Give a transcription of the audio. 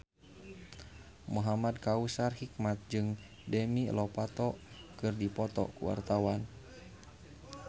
Muhamad Kautsar Hikmat jeung Demi Lovato keur dipoto ku wartawan